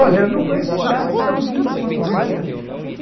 Olha, eu não conheço cidade tão linda quanto o Rio de Janeiro.